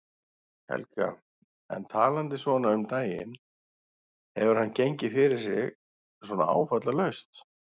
Helga: En talandi svona um daginn, hefur hann gengið fyrir sig svona áfallalaust?